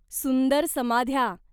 सुंदर समाध्या.